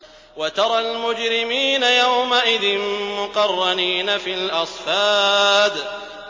وَتَرَى الْمُجْرِمِينَ يَوْمَئِذٍ مُّقَرَّنِينَ فِي الْأَصْفَادِ